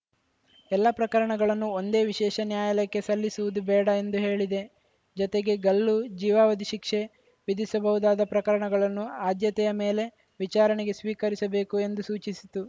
ಎಲ್ಲ ಪ್ರಕರಣಗಳನ್ನೂ ಒಂದೇ ವಿಶೇಷ ನ್ಯಾಯಾಲಯಕ್ಕೆ ಸಲ್ಲಿಸುವುದು ಬೇಡ ಎಂದು ಹೇಳಿದೆ ಜೊತೆಗೆ ಗಲ್ಲು ಜೀವಾವಧಿ ಶಿಕ್ಷೆ ವಿಧಿಸಿಬಹುದಾದ ಪ್ರಕರಣಗಳನ್ನು ಆದ್ಯತೆಯ ಮೇಲೆ ವಿಚಾರಣೆಗೆ ಸ್ವೀಕರಿಸಬೇಕು ಎಂದು ಸೂಚಿಸಿತು